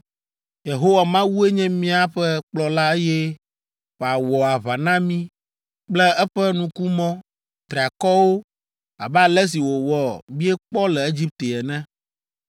Yehowa Mawue nye míaƒe kplɔla eye wòawɔ aʋa na mí kple eƒe nukumɔ triakɔwo abe ale si wòwɔ miekpɔ le Egipte ene.